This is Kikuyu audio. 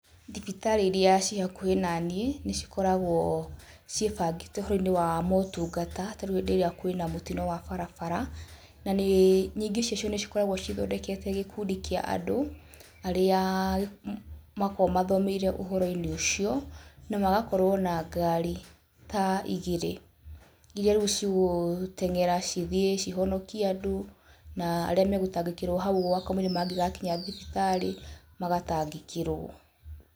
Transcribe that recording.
Thibitarĩ iria ciĩ hakuhĩ na niĩ nĩ cikoragwo ciĩbangĩte ũhoro-inĩ wa motungata tarĩu rĩrĩa kwĩna mũtino wa barabara na nyingĩ ciacio nĩ cikoragwo cithondekete gĩkundi kĩa andũ arĩa makoragwo mathomeire ũhoro-inĩ ũcio na magakorwo na ngari ta igĩrĩ iria rĩu cigũteng'era cithiĩ cihonokie andũ na arĩa megũtangĩkĩrwo hau ũguo kamũira mangĩgakinya thibitarĩ, magatangĩkĩrwo.